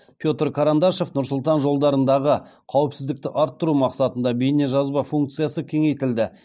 петр карандашов нұр сұлтан жолдарындағы қауіпсіздікті арттыру мақсатында бейнежазба функциясы кеңейтілді